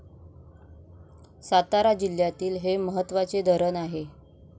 सातारा जिल्ह्यातील हे महत्वाचे धरण आहे.